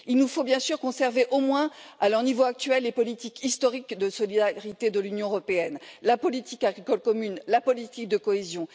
Il nous faut bien sûr conserver, au moins à leur niveau actuel, les politiques historiques de solidarité de l'Union européenne que sont la politique agricole commune et la politique de cohésion.